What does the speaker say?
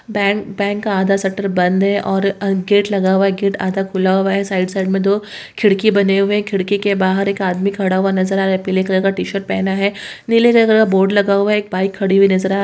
bank bank का आधा shutter बंद है और गेट लगा हुआ है गेट आधा खुला हुआ है साइड साइड में दो खिड़की बने हुए है खिड़की के बाहर एक आदमी खड़ा हुआ नज़र आ रहा है पीले कलर का टी-शर्ट पहना है नीले कलर का बोर्ड लगा हुआ है एक बाइक खड़ी हुई नजर आ रही --